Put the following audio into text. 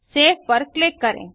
save पर click करें